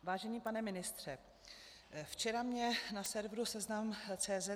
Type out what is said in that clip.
Vážený pane ministře, včera mě na serveru seznam.cz